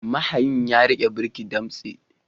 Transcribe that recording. Mahayin ya rike birki damtse.